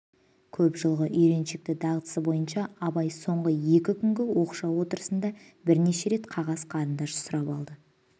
көп жылғы үйреншікті дағдысы бойынша абай соңғы екі күнгі оқшау отырысында бірнеше рет қағаз қарындаш сұрап алды